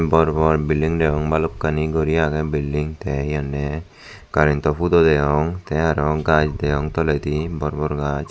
bor bor building degong balokkani guri agey building tey hi honney karento hudo degong tey aro gaaj degong toledi bor bor gaaj.